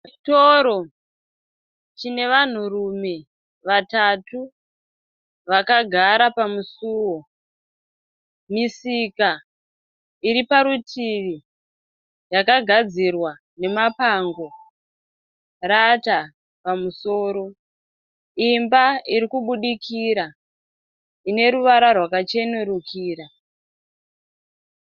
Chitoro chinevanhurume vatatu vakagara pamusuwo. Misika iri parutivi yakagadzirwa nemapango rata pamusoro. Imba iri kubudikira ine ruvara rwakachenurukira.